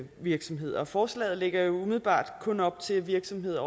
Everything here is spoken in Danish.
virksomheder og forslaget lægger jo umiddelbart kun op til at virksomheder